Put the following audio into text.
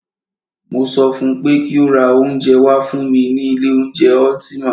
Mo sọ fún pé kí o ra oúnjẹ wá fún mí ní ilé oúnjẹ Ultima!